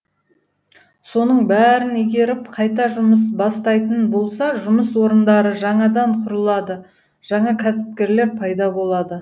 соның бәрін игеріп қайта жұмыс бастайтын болса жұмыс орындары жаңадан құрылады жаңа кәсіпкерлер пайда болады